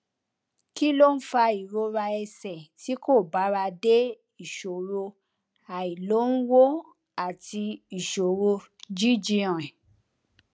kí ló ń fa ìrora ẹsè tí kò bára dé ìṣòro àìlóǹwòn àti ìṣòro jíjí rìn